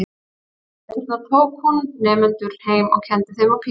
Á veturna tók hún nemendur heim og kenndi þeim á píanó.